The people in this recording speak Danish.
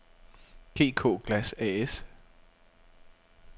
GK Glas A/S